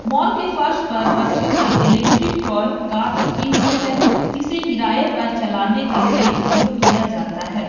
Mall के फर्श पर बच्चों की इलेक्ट्रिक टॉय कार रखी हुई है जिसे किराए पर चलाने के लिए उपयोग किया जाता है।